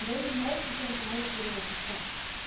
Deze resolutie is denk ik een hele goede eerste stap.